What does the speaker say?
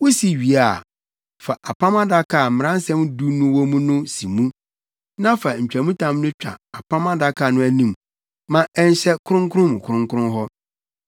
Wusi wie a, fa Apam Adaka a Mmaransɛm Du no wɔ mu no si mu. Na fa ntwamtam no twa Apam Adaka no anim ma ɛnhyɛ kronkron mu kronkron hɔ.